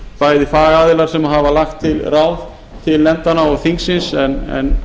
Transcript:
bæði fagaðilar sem hafa lagt til ráð til nefndanna og þingsins en